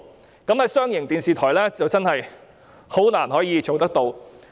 就這方面，商營電視台真的難以仿效。